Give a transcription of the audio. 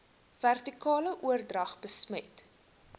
vertikale oordrag besmet